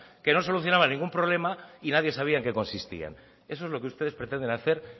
que no solucionaba ningún problema y nadie sabía en qué consistía eso es lo que ustedes pretenden hacer